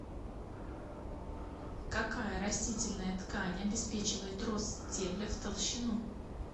какая растительная ткань обеспечивает рост стебля в толщину